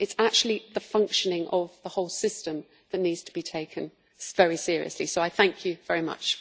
It is actually the functioning of the whole system that needs to be taken very seriously, so I thank you very much.